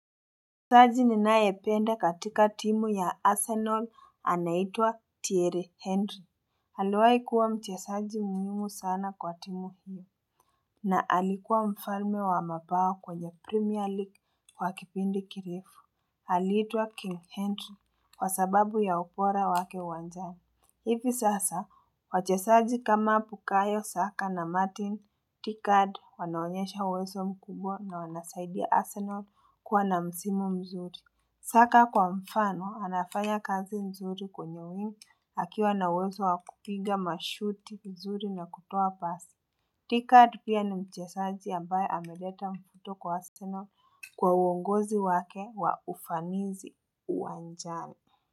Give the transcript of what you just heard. Usaji ninayependa katika timu ya Arsenal anaitwa Thierry Henry. Aliwahi kuwa mchezaji muhimu sana kwa timu hiyo na alikuwa mfalme wa mabao kwenye Premier League kwa kipindi kirefu. Alitwa King Henry kwa sababu ya ubora wake uwanjani. Ipi sasa, wachezaji kama bukayo, Saka na Martin, Odegard, wanaonyesha uwezo mkubwa na wanasaidia Arsenal kuwa na msimu mzuri. Saka kwa mfano, anafaya kazi mzuri kwenye wing, akiwa na uwezo wakupinga mashuti mzuri na kutoa pasi. Odegaard pia ni mchezaji ambaye ameleta mvuto kwa Arsenal kwa uongozi wake wa ufanizi uwanjani.